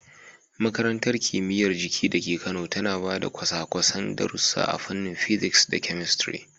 Makarantar Kimiyyar Jiki da ke Kano tana ba da kwasa-kwasan darussa a fannin physics da chemistry.